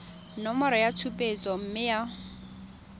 nomoro ya tshupetso mme ya